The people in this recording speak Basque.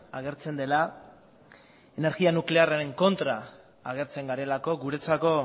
agertzen dela energia nuklearraren kontra agertzen garelako guretzako